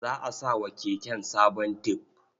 Za a sa wa keken sabon tib.